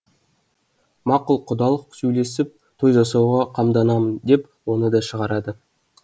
мақұл құдалық сөйлесіп той жасауға қамданамын деп оны да шығарады